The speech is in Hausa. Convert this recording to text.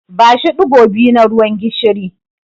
Bashi ɗigo biyu na ruwan gishiri.